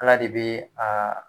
Ala de bɛ a